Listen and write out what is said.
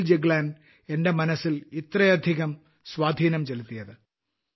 സുനിൽ ജഗ്ലാൻ എന്റെ മനസ്സിൽ ഇത്രയധികം സ്വാധീനം ചെലുത്തിയത്